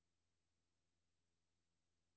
Skriv dette med rød skrift.